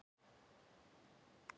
Gekk að dyrunum og lagði við hlustir.